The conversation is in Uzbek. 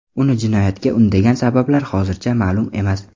Uni jinoyatga undagan sabablar hozircha ma’lum emas.